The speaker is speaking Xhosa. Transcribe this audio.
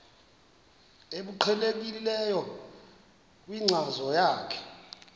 obuqhelekileyo kwinkcazo yakho